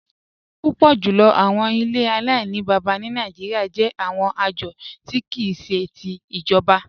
Púpọ̀ jùlọ̀ àwọn ilẹ̀ Aláìnìbábá ni Nàìjíríà jẹ̀ àwọn ajọ̀ ti kìí ṣe ti ijọ̀ba.